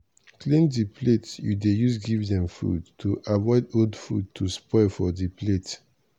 clean di plate you dey use give dem food to avoid old food to spoil for di plate.